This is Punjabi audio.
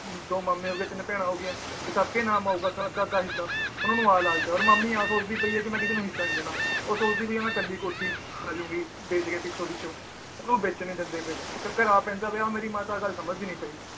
ਦੋ ਮਾਮੇ ਹੋਗੇ ਤਿੰਨ ਭੈਣਾਂ ਹੋਗੀਆਂ ਸਬਕੇ ਨਾਮ ਆਊਗਾ ਤਾਂ ਅੱਧਾ ਅੱਧਾ ਹਿੱਸਾ ਉਹਨਾਂ ਨੂੰ ਆਹ ਲਾਲਚ ਆ ਤੇ ਮਾਮੀ ਆਹ ਸੋਚਦੀ ਪਈ ਏ ਕਿ ਮੈ ਕਿਸੇ ਨੂੰ ਹਿੱਸਾ ਨੀ ਦੇਣਾ ਉਹ ਸੋਚਦੀ ਪੈ ਏ ਕਿ ਮੈ ਕੱਲੀ ਕੋਠੀ ਖਾਅਜੂੰਗੀ ਬੇਚ ਕੇ ਪਿੱਛੋਂ ਪਿੱਛੋਂ ਓਹਨੂੰ ਬੇਚਣ ਨੀ ਦਿੰਦੇ ਪਏ ਚੱਕਰ ਆ ਪੈਂਦਾ ਪਿਆ ਹੁਣ ਮੇਰੀ ਮਾਤਾ ਗੱਲ ਸਮਝਦੀ ਨੀ ਪਈ